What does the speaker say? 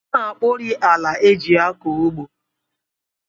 A na-akpọrị ala e ji akọ ugbo